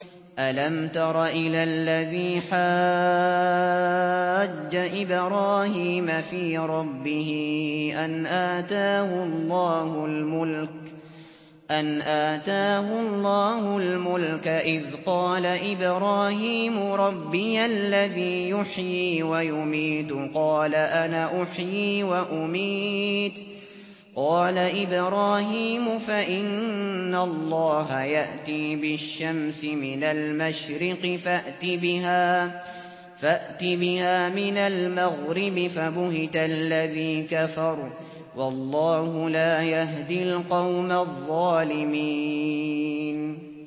أَلَمْ تَرَ إِلَى الَّذِي حَاجَّ إِبْرَاهِيمَ فِي رَبِّهِ أَنْ آتَاهُ اللَّهُ الْمُلْكَ إِذْ قَالَ إِبْرَاهِيمُ رَبِّيَ الَّذِي يُحْيِي وَيُمِيتُ قَالَ أَنَا أُحْيِي وَأُمِيتُ ۖ قَالَ إِبْرَاهِيمُ فَإِنَّ اللَّهَ يَأْتِي بِالشَّمْسِ مِنَ الْمَشْرِقِ فَأْتِ بِهَا مِنَ الْمَغْرِبِ فَبُهِتَ الَّذِي كَفَرَ ۗ وَاللَّهُ لَا يَهْدِي الْقَوْمَ الظَّالِمِينَ